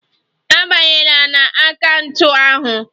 Abanyela na akaụntụ ahụ.